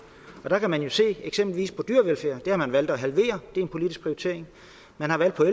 og der kan man jo se eksempelvis på dyrevelfærd at det har man valgt at halvere det er en politisk prioritering man har valgt at